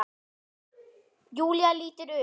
Júlía lítur upp.